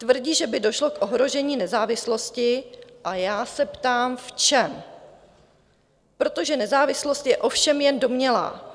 Tvrdí, že by došlo k ohrožení nezávislosti, a já se ptám v čem, protože nezávislost je ovšem jen domnělá.